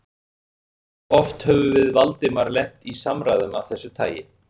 Hversu oft höfðum við Valdimar lent í samræðum af þessu tagi?